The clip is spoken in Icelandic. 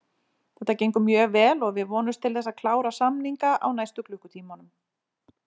Þetta gengur mjög vel og við vonumst til þess að klára samninga á næstu klukkutímunum.